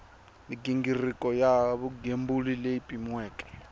mighingiriko ya vugembuli leyi pimiweke